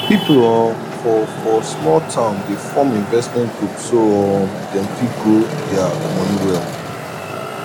people um for for small town dey form investment group so um dem fit grow dia money well